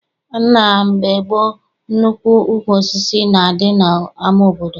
Na mgbe gboo, nnukwu ukwu osisi na-adị n'ama obodo.